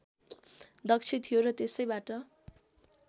दक्ष थियो र त्यसैबाट